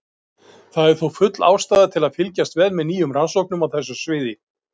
Það er þó full ástæða til að fylgjast vel með nýjum rannsóknum á þessu sviði.